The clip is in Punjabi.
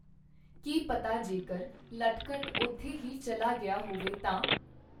ਕੀ ਪਤਾ ਜੇਕਰ ਨਟਖਟ ਓਥੇ ਹੀ ਚੱਲਾ ਗਿਆ ਹੋਵੇ ਤਾਂ?